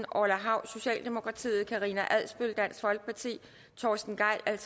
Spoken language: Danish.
orla hav karina adsbøl torsten gejl